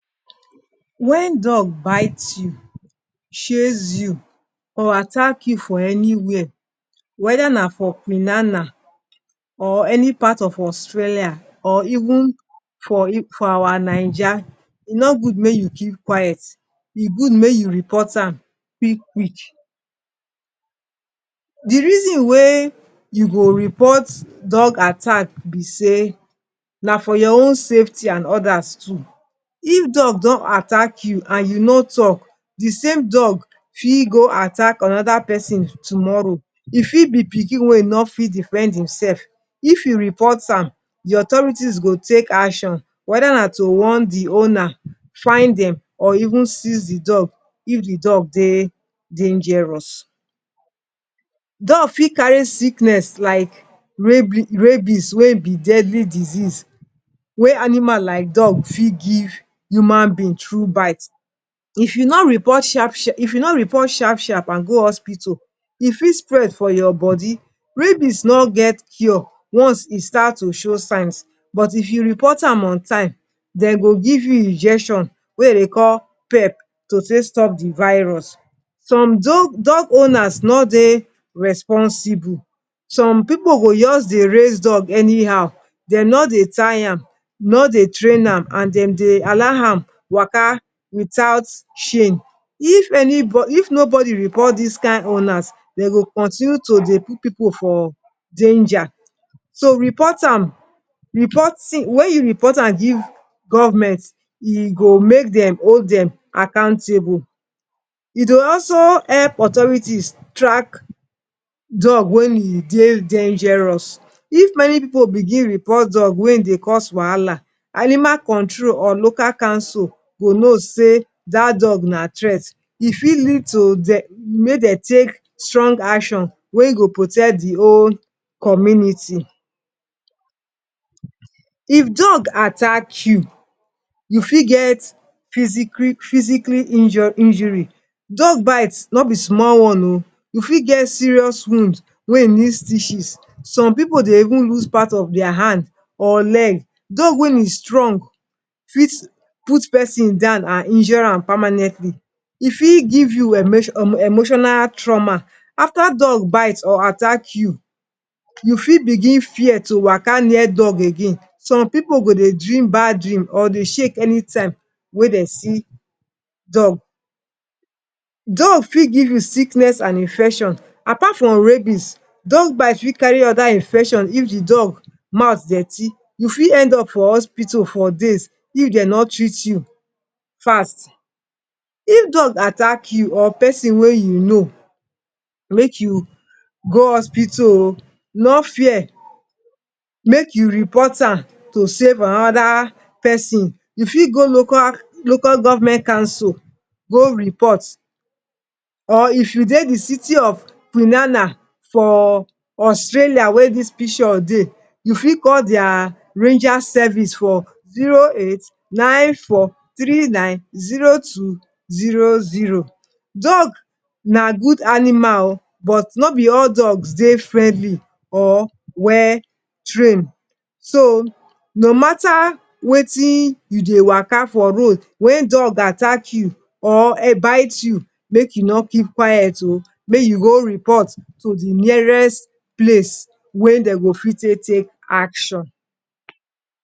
Wen dog bite you, chase you or attack you for anywhere, weda na for quinana or any part of Australia or even for our Naija e no gud make you keep quite, e good mey you repot am quick-quick. The reason wey you go repot dog attack be sey na for your own safety and odas too. If dog don attack you and you no talk, the same dog fit go attack anoda pesin tomoro, e fit be pikin wey no fit defend imsef, if you repot am, the authority go take action, weda na to warn the owna, find dem or even siz the dog if the dog dey dangerous. Dog fit kari sickness like rabbies wey e be deadly disease wey animal like dog fit give human being thrue bite. If you no repot shap-shap and go hospital, e fit spred for your bodi. Rabbies no get cure once e start to show signs, repot am on time dem go give you injection wey dem dey call pep, to take stop the virus. Some dog owners no dey responsible. Som pipu go just dey raise dog anyhow. Dem no dey tie am, dem no dey traina am and dem dey allow am to waka without chain. If nobody repot dis kind owners, dey go continue to dey put pipu for danja. So wen you repot am give government, e go make dem hold dem accountable, e dey also help authority track dog wey e dey dangerous. If many pipu bigin report dog wey dey cause wahala, animal control or local concil go no sey dat dog na tret, e fit lead to mey dem take strong action wey go protect the wole community. If dog attack you, you fit get physicali injuri, dog bite no be small one o, you fit get serious wond wey need stiches. Som pipu dey even use part of dia hand or leg. Dog wey e strong fit put pesin down and injure am pamanentli, e fit give you emotional troma. Afta dog bite or attack you, you fit bigin fear to waka near dog again. Som pipu go dey dream bad dream or dey shake any time wey de see dog. Dog fit give you sickness and infection. Apart from rabbies, dog bite fit kari oda infection if the mouth dirti, you fit end up for hospital for days if de no treat you fast. If dog atack you or pesin wey you no make you go hospital o, no fear. Make you repot am to safe anoda pesin, make you go local government council go repot. Or if you dey the city of quinana for Australia wey dis picture dey. You fit call dia ranger service for 08943900. Dog na gud animal but no be all dog dey friendli or well train, so, no mata wetin you dey waka for road, wey dog attack you or bite you, make you no keep quite o, make you go repot to the nearest place wey dey go fit take action.